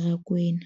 Rakwena,